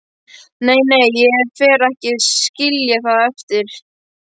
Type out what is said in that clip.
Nei, nei, ég fer ekki að skilja það eftir.